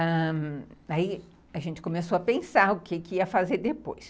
Ãh, aí a gente começou a pensar o que que ia fazer depois.